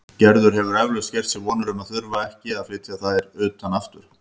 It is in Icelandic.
Gerður hefur eflaust gert sér vonir um að þurfa ekki að flytja þær utan aftur.